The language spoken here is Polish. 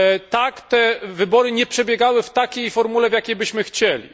Tak, te wybory nie przebiegały w takiej formule, w jakiej byśmy chcieli.